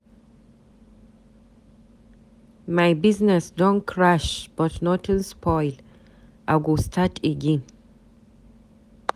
My business don crash but nothing spoil, I go start again.